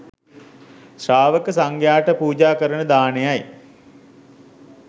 ශ්‍රාවක සංඝයාට පූජා කරන දානයයි.